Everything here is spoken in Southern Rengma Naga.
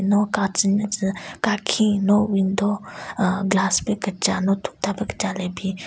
No ka tsü nyutsü kakhin no window ahh glass pe kecha no tokta pe kecha le bin.